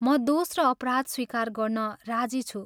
म दोष र अपराध स्वीकार गर्न राजी छु।